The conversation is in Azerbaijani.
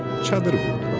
Çadır qurdular.